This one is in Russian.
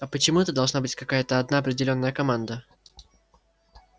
а почему это должна быть какая-то одна определённая команда